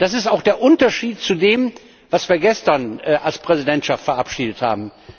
Das ist auch der Unterschied zu dem, was wir gestern als Präsidentschaft verabschiedet haben.